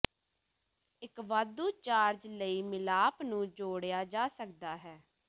ਇੱਕ ਵਾਧੂ ਚਾਰਜ ਲਈ ਮਿਲਾਪ ਨੂੰ ਜੋੜਿਆ ਜਾ ਸਕਦਾ ਹੈ